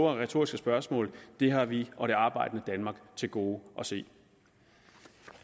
retoriske spørgsmål har vi og det arbejdende danmark til gode at se